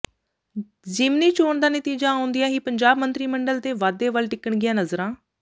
ਜ਼ਿਮਨੀ ਚੋਣ ਦਾ ਨਤੀਜਾ ਆਉਂਦਿਆਂ ਹੀ ਪੰਜਾਬ ਮੰਤਰੀ ਮੰਡਲ ਦੇ ਵਾਧੇ ਵੱਲ ਟਿਕਣਗੀਆਂ ਨਜ਼ਰਾਂ